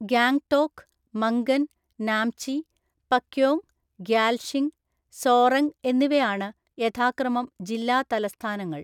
ഗാംഗ്ടോക്ക്, മംഗൻ, നാംചി, പക്യോങ്, ഗ്യാൽഷിംഗ്, സോറെംഗ് എന്നിവയാണ് യഥാക്രമം ജില്ലാ തലസ്ഥാനങ്ങൾ.